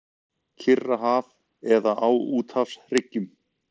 Kyrrahaf eða á úthafshryggjum.